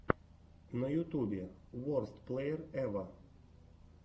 на ютьюбе уростплэерэвэр